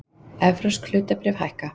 Evrópsk hlutabréf hækka